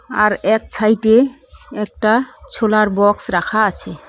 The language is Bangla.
আর এক ছাইটে একটা ছোলার বক্স রাখা আছে।